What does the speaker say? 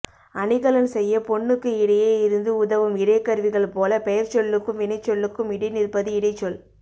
அணிகலன் செய்யப் பொன்னுக்கு இடையே இருந்து உதவும் இடைக்கருவிகள் போலப் பெயர்ச்சொல்லுக்கும் வினைச்சொல்லுக்கும் இடைநிற்பது இடைச்சொல்